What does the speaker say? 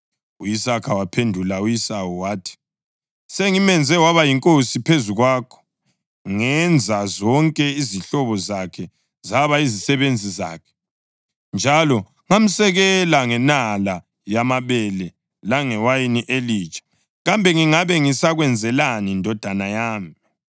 U-Isaka wamphendula u-Esawu wathi, “Sengimenze waba yinkosi phezu kwakho, ngenza zonke izihlobo zakhe zaba yizisebenzi zakhe, njalo ngamsekela ngenala yamabele langewayini elitsha. Kambe ngingabe ngisakwenzelani, ndodana yami?”